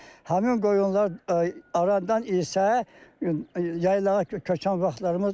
Həmin qoyunlar arandan isə yaylağa köçən vaxtlarımız olub.